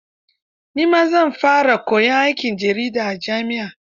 Ni ma zan fara koyon aikin jarida a jami'a.